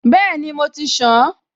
Bẹ́ẹ̀ni, mo ti ṣàn-an